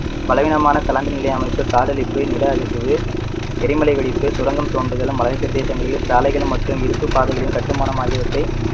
பலவீனமான தளர்ந்த நிலை அமைப்பு, காடழிப்பு, நில அதிர்வு, எரிமலை வெடிப்பு, சுரங்கம் தோண்டுதல், மலைப்பிரதேசங்களில் சாலைகள் மற்றும் இருப்பு பாதைகளின் கட்டுமானம் ஆகியவற்றை